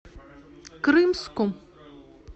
крымску